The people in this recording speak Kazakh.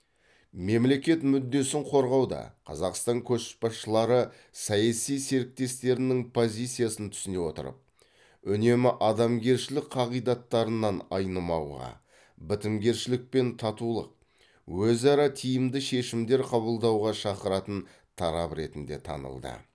мемлекет мүддесін қорғауда қазақстан көшбасшылары саяси серіктестерінің позициясын түсіне отырып үнемі адамгершілік қағидаттарынан айнымауға бітімгершілік пен татулық өзара тиімді шешімдер қабылдауға шақыратын тарап ретінде танылды